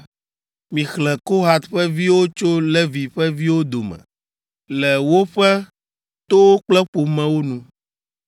“Mixlẽ Kohat ƒe viwo tso Levi ƒe viwo dome le woƒe towo kple ƒomewo nu.